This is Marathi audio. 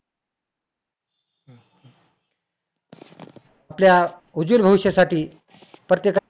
आपल्या उज्वल भविष्यासाठी प्रत्येका